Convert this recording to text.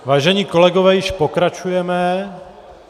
Vážení kolegové, již pokračujeme.